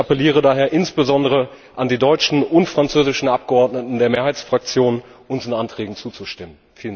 Ich appelliere daher insbesondere an die deutschen und französischen Abgeordneten der Mehrheitsfraktionen, unseren Anträgen zuzustimmen.